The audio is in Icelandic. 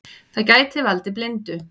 Það gæti valdið blindu.